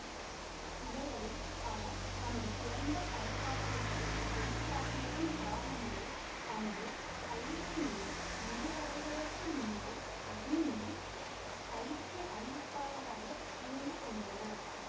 இவர்களில் பலர் தமது சிறந்த படைப்பாற்றல்களை வெளிக்காட்டியதன் காரணமாக தமது பயிற்சிநெறி முடிவடைவதற்கு முன்னரே அக்னி இல் பயிற்சி அறிவிப்பாளர்களாக இணைந்து கொண்டனர்